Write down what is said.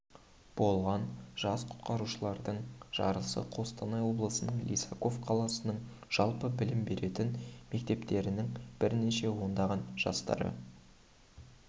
болған жас құтқарушылардың жарысы қостанай облысының лисаков қаласының жалпы білім беретін мектептерінің бірнеше ондаған жастарды